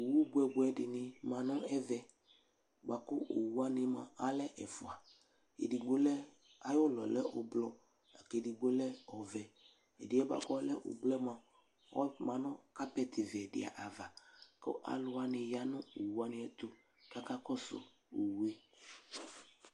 Owu bʋɛbʋɛdɩnɩ ma ŋʋ ɛvɛ bua kʋ owuwanɩ mua alɛ ɛfua, edigbo lɛ, ayʋlɔ yɛ lɛ ʋblʋ lakedigbo lɛ ɔvɛ Ɛdɩ yɛ bua k'ɔlɛ ʋblʋ yɛ mua, ɔma nʋ carpet vɛ dɩnɩ ava kʋ alʋ wani ya nʋ oeuwaniɛtʋ aka kɔsʋ owu yɛ